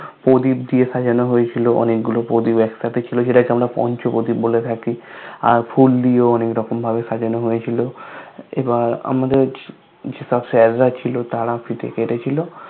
প্রদীপ দিয়ে সাজানো হয়েছিল অনেকগুলো প্রদীপ একসাথে ছিল সেটাকে আমরা পঞ্চপ্রদীপ বলে থাকি আর ফুল দিয়েও অনেকরকম ভাবে সাজানো হয়েছিল এবার আমাদের যেসব Sir রা ছিল তারা ফিতে কেটেছিল